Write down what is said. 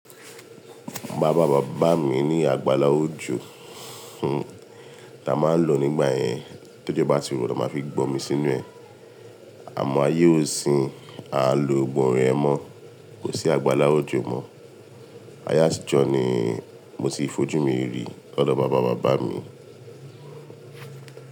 Bàbá bàbá mi ní àgbàlá òjò, tí a máa ń lò nígbà yẹn. Tójọ́ bá ti rọ̀, tan máa fi gbómi sínú ẹ. Àmọ́ ayé òsin, à ń lo gbọ́gbo awon yen mọ́, kò sí àgbàlá òjò mọ́. Ayé àtijọ́ ni mo sì fojú mi rí lọ́do bàbá bàbá mi.